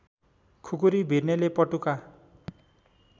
खुकुरी भिर्नेले पटुका